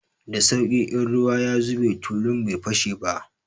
Da sauƙi, in ruwa ya zube tulun bai fashe ba.